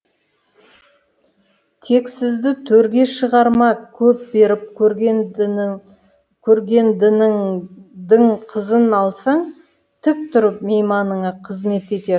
тексізді төрге шығарма көп беріп көргендініңдің қызын алсаң тік тұрып мейманыңа қызмет етер